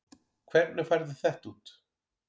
Hvernig færðu þetta út?